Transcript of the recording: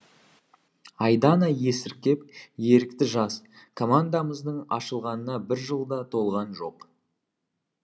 айдана есіркеп ерікті жас командамыздың ашылғанына бір жыл да толған жоқ